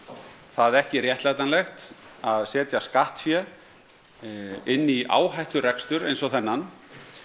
það ekki réttlætanlegt að setja skattfé inn í áhætturekstur eins og þennan